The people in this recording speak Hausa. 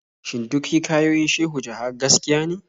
Shin duk hikayoyin Shehu Jaha gaskiya ne?